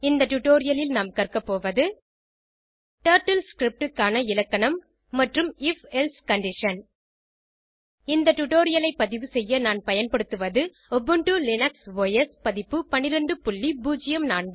இந்த டுடோரியலில் நாம் கற்க போவது டர்ட்டில் scriptக்கான இலக்கணம் மற்றும் if எல்சே கண்டிஷன் இந்த டுடோரியலைப் பதிவு செய்ய நான் பயன்படுத்துவது உபுண்டு லினக்ஸ் ஒஸ் பதிப்பு 1204